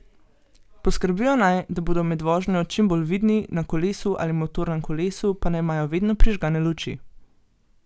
Poskrbijo naj, da bodo med vožnjo čim bolj vidni, na kolesu ali motornem kolesu pa naj imajo vedno prižgane luči.